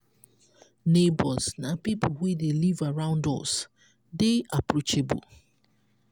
neigbours na pipo wey dey live around us dey approachable